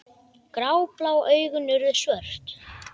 Gráblá augun urðu svört.